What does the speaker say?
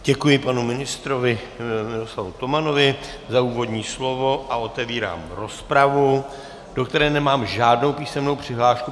Děkuji panu ministrovi Miroslavu Tomanovi za úvodní slovo a otevírám rozpravu, do které nemám žádnou písemnou přihlášku.